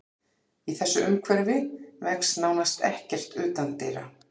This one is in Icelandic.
Í þessu umhverfi vex nánast ekkert utandyra.